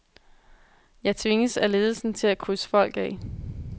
Jeg tvinges af ledelsen til at krydse folk af.